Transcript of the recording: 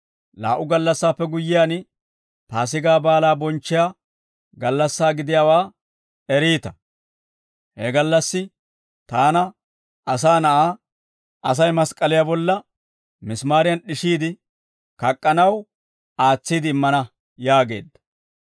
«Laa"u gallassaappe guyyiyaan, Paasigaa Baalaa bonchchiyaa gallassaa gidiyaawaa eriita. He gallassi Taana, Asaa Na'aa, Asay mask'k'aliyaa bolla misimaariyan d'ishiide kak'k'anaw aatsiide immana» yaageedda.